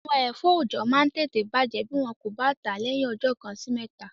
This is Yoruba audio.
Àwọn ẹ̀fọ́ oọ̀jọ́ máa n tẹ̀tẹ̀ bàjẹ́ bí wọn kò bá tàá lẹ́yìn ọjọ́ kan sí mẹ́ta